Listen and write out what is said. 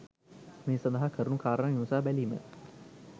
මේ සඳහා කරුණු කාරණා විමසා බැලීම